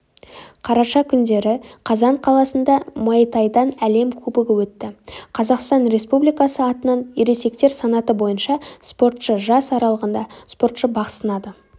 қараша күндері қазан қаласында муайтайдан әлем кубогы өтті қазақстан республикасы атынан ересектер санаты бойынша спортшы жас аралығында спортшы бақ сынады деп